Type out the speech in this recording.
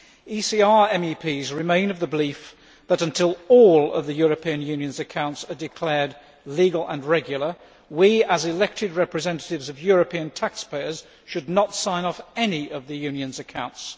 ECR MEPs remain of the belief that until all of the European Union's accounts are declared legal and regular, we, as elected representatives of European taxpayers, should not sign off any of the Union's accounts.